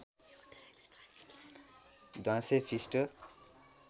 ध्वाँसे फिस्टो